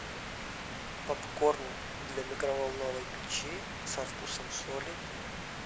попкорн для микроволновой печи со вкусом соли